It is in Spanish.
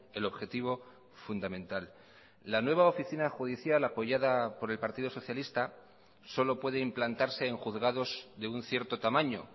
el objetivo fundamental la nueva oficina judicial apoyada por el partido socialista solo puede implantarse en juzgados de un cierto tamaño